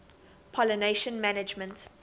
pollination management